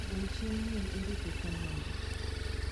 gol chieng nyuol erik e kalenda